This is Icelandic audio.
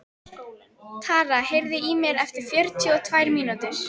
Tara, heyrðu í mér eftir fjörutíu og tvær mínútur.